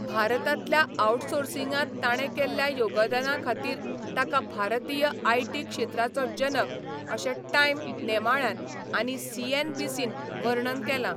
भारतांतल्या आउटसोर्सिंगांत ताणें केल्ल्या योगदाना खातीर ताका 'भारतीय आयटी क्षेत्राचो जनक' अशें टायम नेमाळ्यान आनी सीएनबीसीन वर्णन केलां.